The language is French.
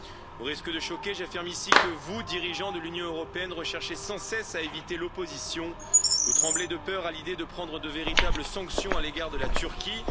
Au risque de choquer, j'affirme ici que vous, dirigeants de l'Union européenne recherchez sans cesse à éviter l'opposition, vous tremblez de peur à l'idée de prendre de véritables sanctions à l'égard de la Turquie.